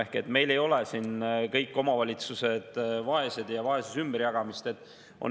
Ehk meil ei ole kõik omavalitsused vaesed ja vaesuse ümberjagamist.